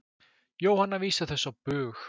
Jóhanna vísar þessu á bug.